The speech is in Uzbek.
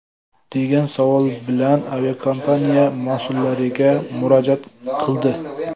degan savol bilan aviakompaniya mas’ullariga murojaat qildi .